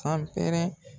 San pɛrɛ